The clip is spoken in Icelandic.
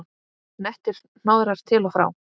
Nettir hnoðrar til og frá.